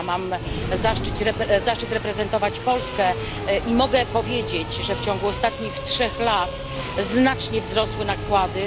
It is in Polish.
Ja mam zaszczyt reprezentować Polskę i mogę powiedzieć, że w ciągu ostatnich trzech lat znacznie wzrosły nakłady.